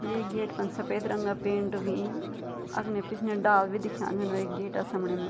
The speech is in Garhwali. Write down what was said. ये गेट फन सपेद रंगा पेंट हुईं अगने पिछने डाल भी दिख्याँ छन वे गेटा समणी मा ।